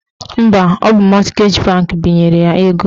Mba, ọ bụ mọtgeji bankị binyere ya ego